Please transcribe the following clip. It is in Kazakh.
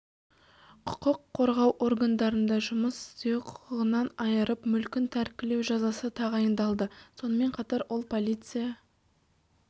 құқық қорғау органдарында жұмыс істеу құқығынан айырып мүлкін тәркілеу жазасы тағайындалды сонымен қатар ол полиция